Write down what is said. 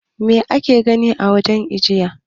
Mai ake gani a wajen ajiye?